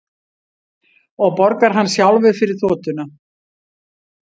Og borgar hann sjálfur fyrir þotuna